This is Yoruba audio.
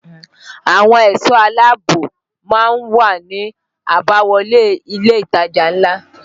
Àwọn ẹ̀sọ́ aláààbò má ń wà ní àbáwọlé ilé ìtajà ńlá